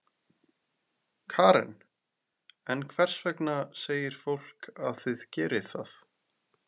Karen: En hvers vegna segir fólk að þið gerið það?